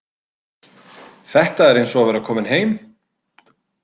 Þetta er eins og að vera kominn heim.